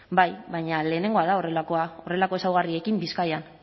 bai baina lehenengoa da horrelakoa horrelako ezaugarriekin bizkaian